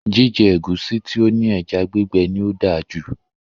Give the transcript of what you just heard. Jíjẹ ẹ̀gúsí tí ó ní ẹja gbígbẹ ní o dáa jù